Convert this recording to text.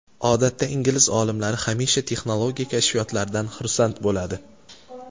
Odatda ingliz olimlari hamisha texnologiya kashfiyotlaridan xursand bo‘ladi.